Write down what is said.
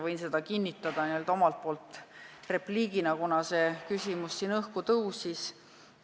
Võin seda omalt poolt kinnitada repliigiga, kuna see küsimus siin tekkis.